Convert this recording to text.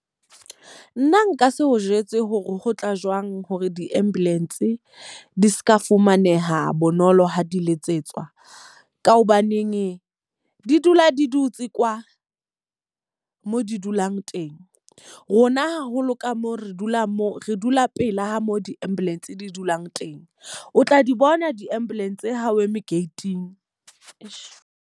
Nna nka se o jwetse hore ho tla jwang hore di-ambulance di seka fumaneha bonolo ha di letsetswa. Ka hobaneneng di dula di dutse kwa mo di dulang teng. Rona haholo ka moo re dula moo re dula pela ho mo di-ambulance di dulang teng. O tla di bona di-ambulance ha o eme gate-ing.